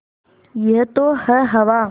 यह तो है हवा